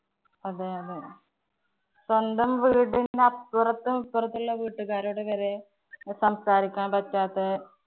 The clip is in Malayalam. അതെയതെ. സ്വന്തം വീട്ടിന്നു അപ്പുറത്തും ഇപ്പുറത്തും ഉള്ള വീട്ടുകാരോട് വരെ ഒന്നു സംസാരിക്കാന്‍ പറ്റാത്തെ